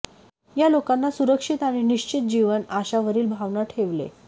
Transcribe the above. या लोकांना सुरक्षित आणि निश्चिंत जीवन आशा वरील भावना ठेवले